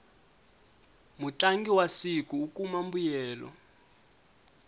mutlangi wa siku u kuma mbuyelo